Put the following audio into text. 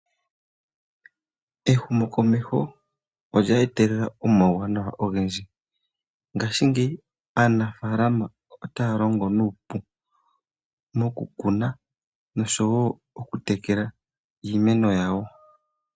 Ehumokomeho olye etelela omawuwanawa ogendji, ngashingeyi aanafaalama otaya longo nuupu nokukuna ,oshowo oku tekela iimeno yawo.